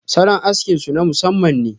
salon aski su na masamman ne.